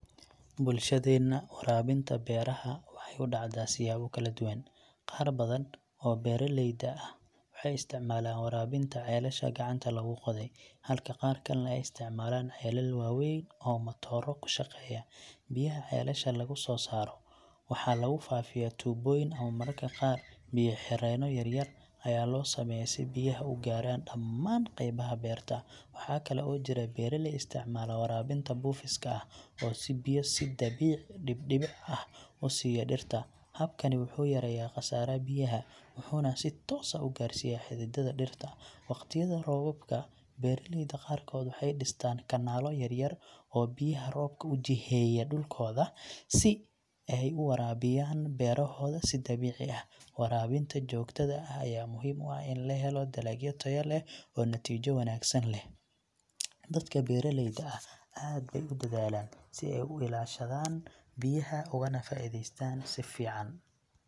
Bulshadeena, waraabinta beeraha waxay u dhacdaa siyaabo kala duwan. Qaar badan oo beeraleyda ah waxay isticmaalaan waraabinta ceelasha gacanta lagu qoday, halka qaar kalena ay isticmaalaan ceelal waaweyn oo matooro ku shaqeeya. Biyaha ceelasha lagu soo saaro waxa lagu faafiyaa tuubooyin ama mararka qaar biyo-xireeno yar yar ayaa loo sameeyaa si biyaha u gaaraan dhamaan qaybaha beerta. Waxaa kale oo jira beeraley isticmaala waraabinta buufiska ah, oo biyo si dabiici dhibic-dhibic ah u siiya dhirta. Habkani wuxuu yareeyaa khasaaraha biyaha wuxuuna si toos ah u gaarsiiyaa xididdada dhirta. Waqtiyada roobabka, beeraleyda qaarkood waxay dhistaan kanaallo yar yar oo biyaha roobka u jiheeya dhulkooda si ay u waraabiyaan beerahooda si dabiici ah. Waraabinta joogtada ah ayaa muhiim u ah in la helo dalagyo tayo leh oo natiijo wanaagsan leh. Dadka beeraleyda ah aad bay u dadaalaan si ay u ilaashadaan biyaha ugana faa'iidaystaan si fiican.